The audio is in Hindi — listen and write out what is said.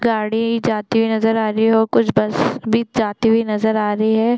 गाड़ी जाती हुई नज़र आ रही है और कुछ बस भी जाती हुई नज़र आ रही हैं ।